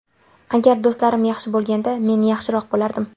Agar do‘stlarim yaxshi bo‘lganida men yaxshiroq bo‘lardim.